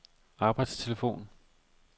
arbejdstelefon